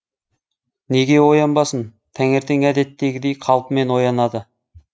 неге оянбасын таңертең әдеттегідей қалпымен оянады